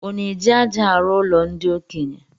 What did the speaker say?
Ọ na-eji aja arụ ụlo ndi okenye?